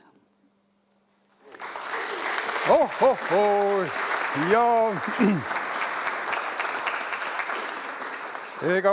Oh-oh-hoo …